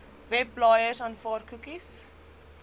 webblaaiers aanvaar koekies